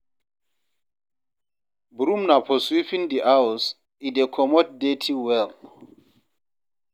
Broom na for sweeping di house, e dey comot dirty well